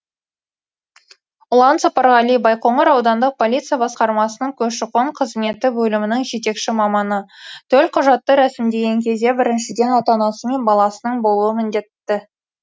ұлан сапарғали байқоңыр аудандық полиция басқармасының көші қон қызметі бөлімінің жетекші маманы төлқұжатты рәсімдеген кезде біріншіден ата анасы мен баласының болуы міндетті